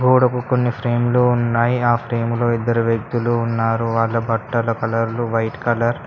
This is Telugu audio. గొడకు కొన్ని ఫ్రేమ్లు ఉన్నాయ్ ఆ ఫ్రేమ్ లో ఇద్దరు వ్యక్తులు ఉన్నారు వాళ్ళ బట్టల కలర్లు వైట్ కలర్ .